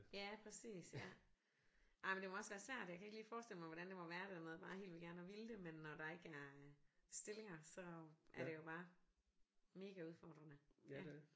Ja præcis ja ej men det må også være svært jeg kan ikke lige forestille mig hvordan det må være det med bare helt vildt gerne at ville det men når det ikke er stillinger så er det jo bare mega udfordrende ja